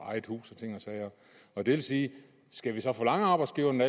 og eget hus og ting og sager og det vil sige skal vi så forlange af arbejdsgiveren at